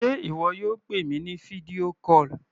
Sé ìwọ yóò pè mi ní fídíò call?